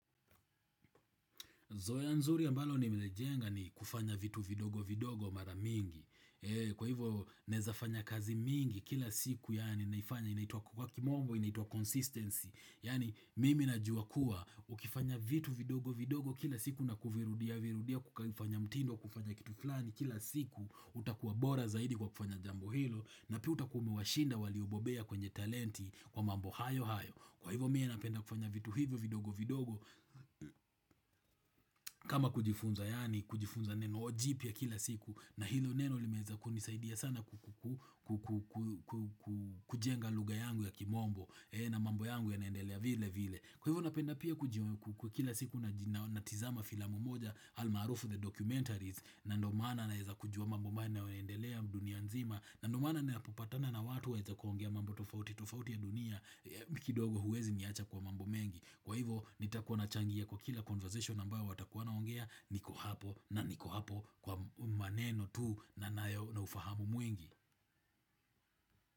Zoea nzuri ambalo nimelijenga ni kufanya vitu vidogo vidogo mara mingi. Kwa hivyo naeza fanya kazi mingi kila siku yani naifanya inaitwa kwa kimombo inaituwa consistency. Yani mimi najua kuwa ukifanya vitu vidogo vidogo kila siku na kuvirudia virudia kufanya mtindo kufanya kitu flani kila siku, utakuwa bora zaidi kwa kufanya jambo hilo na pia utakuwa umewashinda waliobobea kwenye talenti kwa mambo hayo hayo. Kwa hivyo mie napenda kufanya vitu hivyo vidogo vidogo kama kujifunza yani kujifunza neno jipya kila siku na hilo neno limeweza kunisaidia sana kujenga lugha yangu ya kimombo na mambo yangu ya naendelea vile vile Kwa hivyo napenda pia kujiwe kukula siku na tizama filamu moja almarufu The Documentaries na ndo maana naeeza kujua mambo manne ya naendelea dunia nzima na ndomana napopatana na watu wa eza kuongea mambo tofauti tofauti ya dunia, kidogo huwezi niacha kwa mambo mengi. Kwa hivo nitakuwa nachangia kwa kila conversation ambayo watakuwa wanaongea, niko hapo na niko hapo kwa maneno tuu na na ufahamu mwingi.